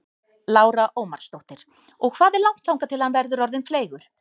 Lára Ómarsdóttir: Og hvað er langt þar til hann verður orðinn fleygur?